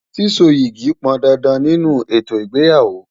Síso yìgì pọn dandan nínú ètò ìgbéyàwó.